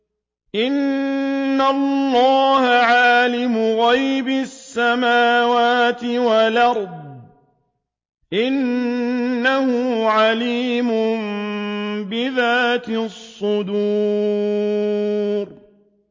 إِنَّ اللَّهَ عَالِمُ غَيْبِ السَّمَاوَاتِ وَالْأَرْضِ ۚ إِنَّهُ عَلِيمٌ بِذَاتِ الصُّدُورِ